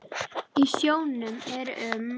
Í sjónum eru um